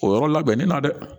O yɔrɔ labɛnni na dɛ